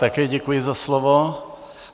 Také děkuji za slovo.